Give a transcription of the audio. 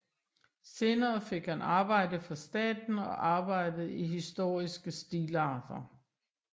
Senere fik han arbejde for staten og arbejdede i historiske stilarter